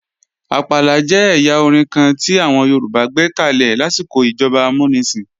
Àpàlà jẹ́ ẹ̀yà orin kan tí àwọn Yorùbá gbékalè lásìkò ìjọba amúnisìn